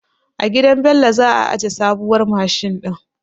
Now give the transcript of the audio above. A gidan Bello za a aje sabuwar mashin din.